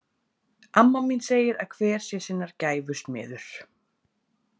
Amma mín segir að hver sé sinnar gæfu smiður.